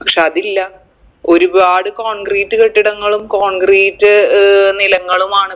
പക്ഷെ അതില്ല ഒരുപാട് concrete കെട്ടിടങ്ങളും concrete ഏർ നിലങ്ങളുമാണ്